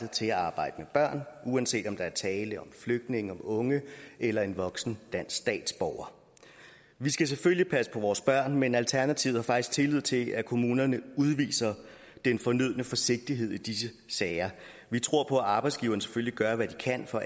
til at arbejde med børn uanset om der er tale om en flygtning en ung eller en voksen dansk statsborger vi skal selvfølgelig passe på vores børn men alternativet har faktisk tillid til at kommunerne udviser den fornødne forsigtighed i disse sager vi tror på at arbejdsgiverne selvfølgelig gør hvad de kan for